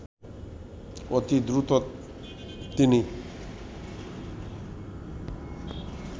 অতি দ্রুত তিনি